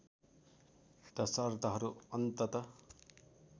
त शर्तहरू अन्ततः